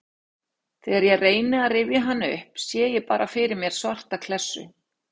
Þegar ég reyni að rifja hann upp sé ég bara fyrir mér svarta klessu.